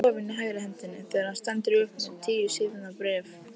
Hann er orðinn dofinn í hægri hendinni þegar hann stendur upp með tíu síðna bréf.